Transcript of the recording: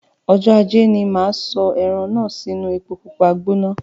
Ọjọ ajé ní máa sọ ẹran náà sì inu èpo pupa gbóná